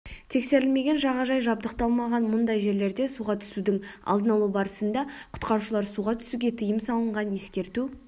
тексерілмеген жағажай жабдықталмаған мұндай жерлерде суға түсудің алдын-алуы барысында құтқарушылар суға түсуге тыйым салынған ескерту